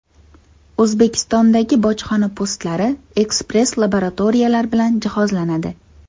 O‘zbekistondagi bojxona postlari ekspress-laboratoriyalar bilan jihozlanadi.